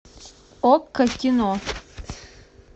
окко кино